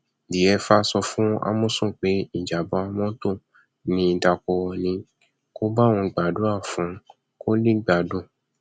diefah sọ fún àmọsùn pé ìjàmà mọtò ni dakurò ní kó bá òun gbàdúrà fún un kó lè gbádùn